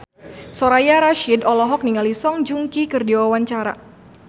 Soraya Rasyid olohok ningali Song Joong Ki keur diwawancara